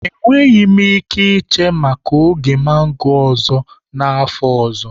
Enweghị m ike iche maka oge mango ọzọ n'afọ ọzọ.